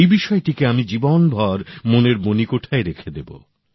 এই বিষয়টিকে আমি জীবনভর মনের মনিকোঠায় রেখে দেব